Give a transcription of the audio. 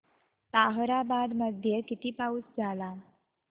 ताहराबाद मध्ये किती पाऊस झाला